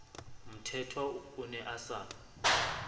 mthethwa o ne a sa